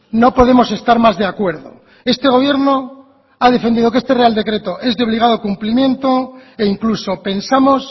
no podemos estar más de acuerdo este gobierno ha defendido que este real decreto es de obligado cumplimiento e incluso pensamos